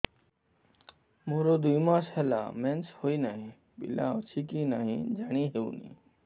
ମୋର ଦୁଇ ମାସ ହେଲା ମେନ୍ସେସ ହୋଇ ନାହିଁ ପିଲା ଅଛି କି ନାହିଁ ଜାଣି ହେଉନି